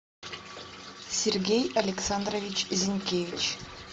сергей александрович зинкевич